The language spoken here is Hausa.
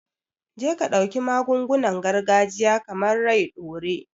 Jeka dauki magungunan gargajiya, kamar "rai ɗore"